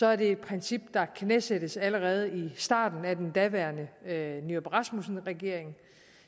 er det et princip der knæsættes allerede i starten af den daværende nyrup rasmussen regering